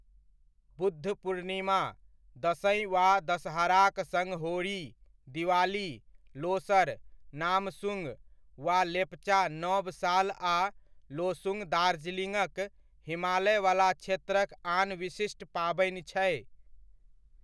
बुद्ध पूर्णिमा, दशईं वा दशहराक सङ्ग होरी, दिवाली, लोसर, नामसूंग वा लेपचा नब साल आ लोसूंग दार्जिलिंगक हिमालयवला क्षेत्रक आन विशिष्ट पाबनि छै।